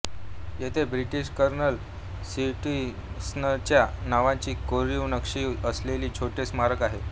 येथे British colonel स्टीव्हन्सनच्या नावाची कोरीव नक्षी असलेले छोटे स्मारक आहे